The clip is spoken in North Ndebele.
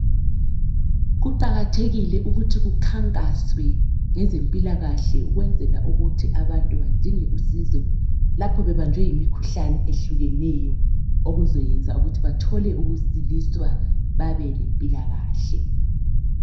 Kuqakathekile ukuthi kukhankaswe ngezempilakahle ukwenzela ukuthi abantu bedinge usizo lapho bebanjwe yimikhuhlane ehlukeneyo okuzayenza ukuthi bathole ukusiliswa babe lempilakahle.